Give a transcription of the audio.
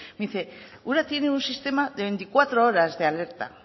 me dice ura tiene un sistema de veinticuatro horas de alerta